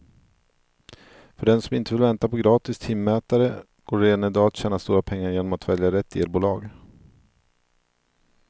För den som inte vill vänta på gratis timmätare går det redan i dag att tjäna stora pengar genom att välja rätt elbolag.